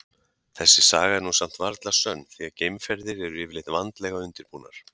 Þessi saga er nú samt varla sönn því að geimferðir eru yfirleitt vandlega undirbúnar.